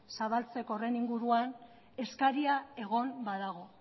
zabaltzeko horren inguruko eskaria egon badago